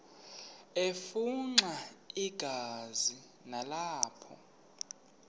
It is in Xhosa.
afimxa igazi nalapho